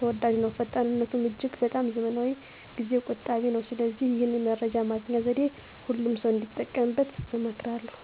ተወዳጅ ነው። ፈጣንነቱም እጅግ በጣም ዘመናዊና ጊዜ ቆጣቢ ነው። ስለዚህ ይህን የመረጃ ማግኛ ዘዴ ሁሉም ሰው እንዲጠቀምበት እመክራለሁ።